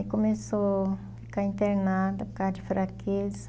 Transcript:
Aí começou a ficar internada por causa de fraqueza.